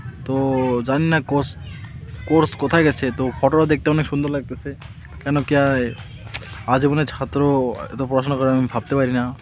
তো জানি না কোস কোর্স কোথায় গেসে তো ফটো টা দেখতে অনেক সুন্দর লাগতেসে কেন কিয়া এ আজীবনে ছাত্র এত পড়াশোনা করে আমি ভাবতে পারি না।